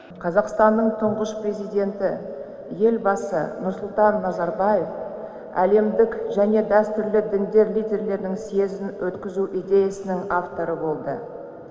қазақстанның тұңғыш президенті елбасы нұрсұлтан назарбаев әлемдік және дәстүрлі діндер лидерлерінің съезін өткізу идеясының авторы болды